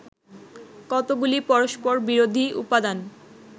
কতকগুলি পরস্পরবিরোধী উপাদান